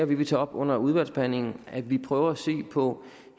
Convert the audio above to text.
vi vil tage op under udvalgsbehandlingen og at vi prøver at se på